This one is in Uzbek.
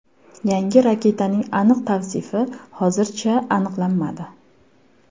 Yangi raketaning aniq tavsifi hozircha aniqlanmadi.